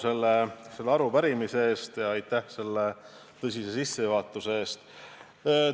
Suur tänu selle arupärimise eest ja aitäh selle tõsise sissejuhatuse eest!